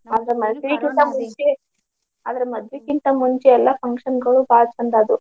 ಆದ್ರೆ ಮದ್ವಿ ಕಿಂತಾ ಮುಂಚೆ ಎಲ್ಲಾ function ಬಾಳ ಚಂದ ಆದ್ವು.